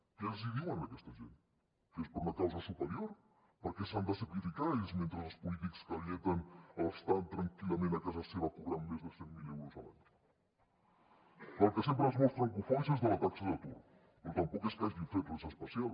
què els diuen a aquesta gent que és per una causa superior per què s’han de sacrificar ells mentre els polítics que alleten estan tranquil·lament a casa seva cobrant més de cent mil euros a l’any del que sempre es mostren cofois és de la taxa d’atur però tampoc és que hagin fet res especial